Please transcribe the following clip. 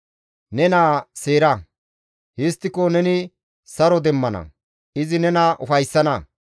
Ne naa seera; histtiko neni saro demmana; izi nena ufayssana.